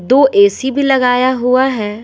दो ए_सी भी लगाया हुआ है।